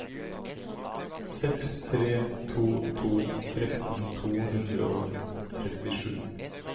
seks tre to to tretten to hundre og trettisju